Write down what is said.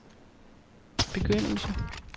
begyndelse